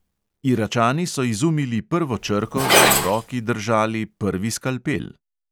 "Iračani so izumili prvo črko in v roki držali prvi skalpel."